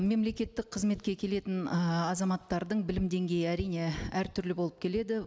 мемлекеттік қызметке келетін ы азаматтардың білім деңгейі әрине әртүрлі болып келеді